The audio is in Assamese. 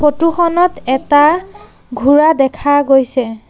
ফটো খনত এটা ঘোঁৰা দেখা গৈছে।